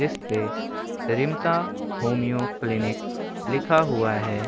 इस्पे homeo clinic लिखा हुआ है ।